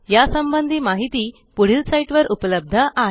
या संबंधी माहिती पुढील साईटवर उपलब्ध आहे